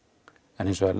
en hins vegar